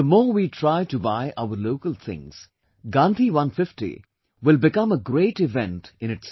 The more we try to buy our local things; the 'Gandhi 150' will become a great event in itself